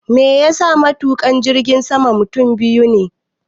Meyasa koda yaushe matuƙa jirgin sama mutum biyu ne?